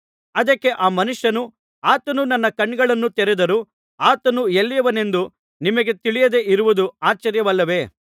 ಅದಕ್ಕೆ ಆ ಮನುಷ್ಯನು ಆತನು ನನ್ನ ಕಣ್ಣುಗಳನ್ನು ತೆರೆದರೂ ಆತನು ಎಲ್ಲಿಯವನೆಂದು ನಿಮಗೆ ತಿಳಿಯದೆ ಇರುವುದು ಆಶ್ಚರ್ಯವಲ್ಲವೇ